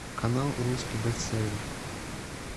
канал русский бестселлер